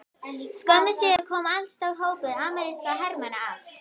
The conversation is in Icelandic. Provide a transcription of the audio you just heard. Skömmu síðar kom allstór hópur amerískra hermanna að